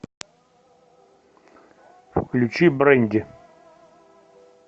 включи брэнди